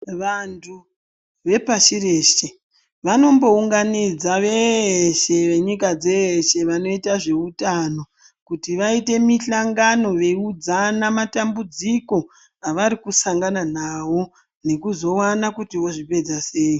Vantu vepashi reshe vanombounganidza veshe venyika dzeeshe vanoita zveutano kuti vaite muhlangano veiudzana matambudziko evari kusangana nawo nekuudzana kuti vozvipedza sei.